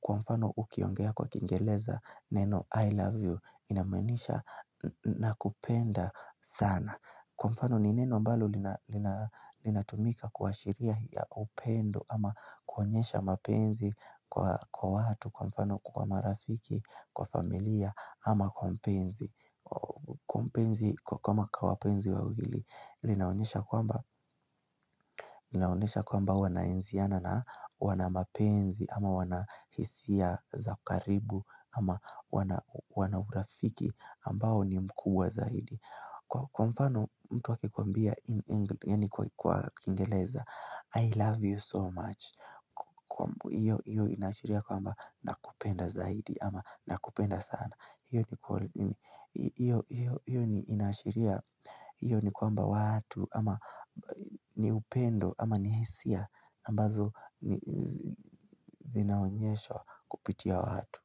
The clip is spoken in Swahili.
Kwa mfano ukiongea kwa kingeleza neno I love you inamaanisha nakupenda sana Kwa mfano ni neno ambalo linatumika kuashiria ya upendo ama kuonyesha mapenzi kwa watu Kwa mfano kwa marafiki, kwa familia ama kwa mpenzi Kwa mpenzi kama kwa wapenzi wawili Linaonyesha kwamba kwamba huwa naenziana na wana mapenzi ama wana hisia za karibu ama wana urafiki ambao ni mkuu wa zaidi Kwa mfano mtu akikwambia kwa kingeleza, I love you so much. Iyo inaashiria kwamba nakupenda zaidi ama nakupenda sana. Iyo ni Iyo ni inaashiria iyo ni kwamba watu ama ni upendo ama ni hisia ambazo zinaonyeshwa kupitia watu.